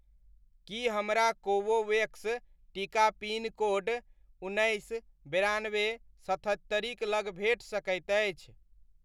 की हमरा कोवोवेक्स टीका pin code उन्नैस, बेरानबे, सतहत्तरिक लग भेट सकैत अछि?